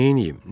Neynəyim?